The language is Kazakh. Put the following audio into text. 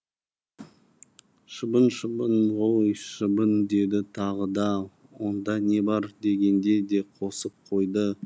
шыбын шыбын ғой шыбын деді тағы да онда не бар дегенде де қосып қойды